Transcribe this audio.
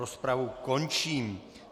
Rozpravu končím.